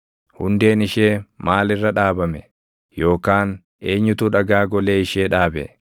Hundeen ishee maal irra dhaabame? Yookaan eenyutu dhagaa golee ishee dhaabe?